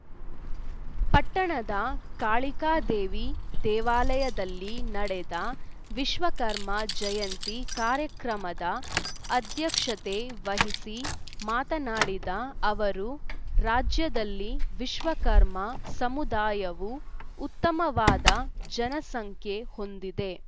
ಪಟ್ಟಣದ ಕಾಳಿಕಾದೇವಿ ದೇವಾಲಯದಲ್ಲಿ ನಡೆದ ವಿಶ್ವಕರ್ಮ ಜಯಂತಿ ಕಾರ್ಯಕ್ರಮದ ಅಧ್ಯಕ್ಷತೆ ವಹಿಸಿ ಮಾತನಾಡಿದ ಅವರು ರಾಜ್ಯದಲ್ಲಿ ವಿಶ್ವಕರ್ಮ ಸಮುದಾಯವು ಉತ್ತಮವಾದ ಜನಸಂಖ್ಯೆ ಹೊಂದಿದೆ